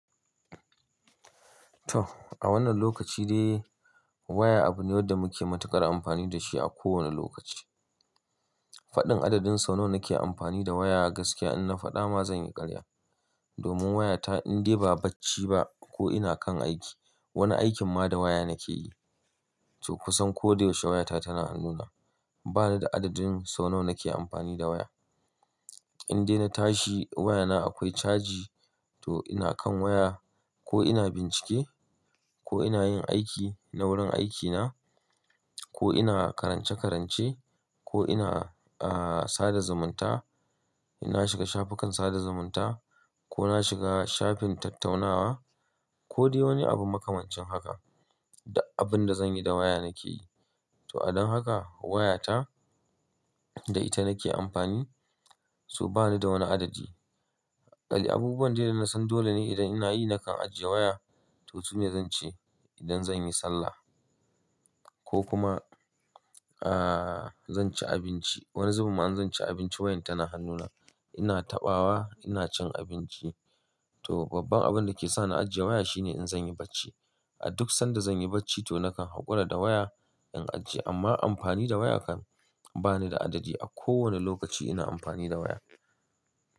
To, a wannan lokaci de waya abu ne da muke matuƙar amfani da shi a kowane lokaci. Faɗin adadin sau nawa nake amfani da waya a gaskiya in na faɗa ma zan yi ƙarya. Domin wayata in dai ba bacci ba ko ina kan aiki, wani aikin ma da waya nake yi. To kusan koda yaushe wayata tana hannuna. Ba ni da adadin sau nawa nake amfani da waya. In dai na tashi wayana akwai caji to ina kan waya ko ina bincike ko ina yin aiki na wurin aikina ko ina karance-karance ko ina, ah, sada zumunta, ina shiga shafukan sada zumunta ko na shiga shafin tattaunawa ko dai wani abu makamancin haka. Da abun da zan yi da waya nake yi. To adon haka wayata da ita nake amfani, so ba ni da wani adadi. Ƙali abubuwan dai da na san dole ne idan ina yi nakan ajiye waya, to sune ya zan ce idan zan yi sallah ko kuma, ah, zan ci abinci. Wani zubin ma in zan ci abinci wayan tana hannuna. Ina taɓawa ina cin abinci. To babban abun da ke sa na ajiye waya shine in zan yi bacci. A duk sanda zan yi bacci to nakan haƙura da waya in ajiye amma amfani da waya kan ba ni da adadi. A kowane lokaci ina amfani da waya.